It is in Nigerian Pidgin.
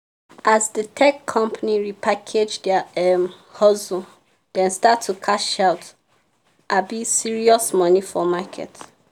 as the tech company repackage their um hustle dem start to cash out um serious money for market.